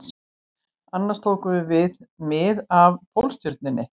Annars tókum við mið af Pólstjörnunni